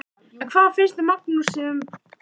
En hvað finnst Magnúsi um brottvísun Ólafar Guðnýjar?